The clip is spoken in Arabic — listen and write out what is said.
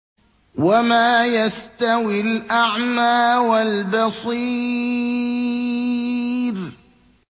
وَمَا يَسْتَوِي الْأَعْمَىٰ وَالْبَصِيرُ